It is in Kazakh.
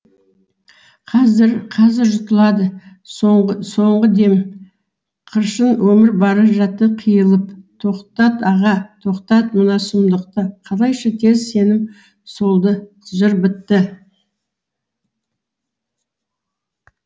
қазір қазір жұтылады соңғы дем қыршын өмір бара жатты қиылып тоқтат аға тоқтат мына сұмдықты қалайша тез сенім солды жыр бітті